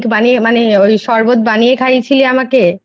বানিয়ে মানে ওই শরবত বানিয়ে খাইয়েছিস আমাকে।